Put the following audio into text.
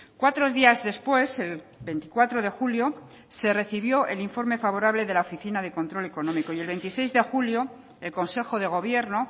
cuatro días después el veinticuatro de julio se recibió el informe favorable de la oficina de control económico y el veintiséis de julio el consejo de gobierno